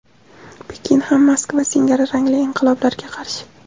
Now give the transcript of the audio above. Pekin ham Moskva singari rangli inqiloblarga qarshi.